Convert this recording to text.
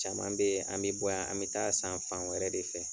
Caman bɛ, an bɛ bɔ yan, an bɛ taa san fan wɛrɛ de fɛ.